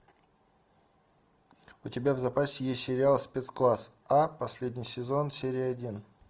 у тебя в запасе есть сериал спецкласс а последний сезон серия один